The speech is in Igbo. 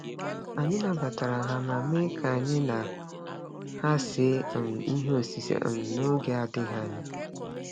Anyị nabatara ha ma mee ka anyị na ha see um ihe osise um n'oge adịghị anya.